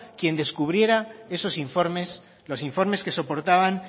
quien descubriera esos informes los informes que soportaban